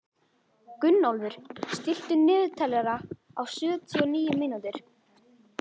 Gunnólfur, stilltu niðurteljara á sjötíu og níu mínútur.